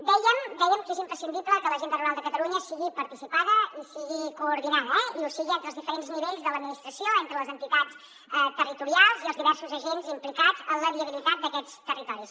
dèiem que és imprescindible que l’agenda rural de catalunya sigui participada i sigui coordinada eh i que ho sigui entre els diferents nivells de l’administració entre les entitats territorials i els diversos agents implicats en la viabilitat d’aquests territoris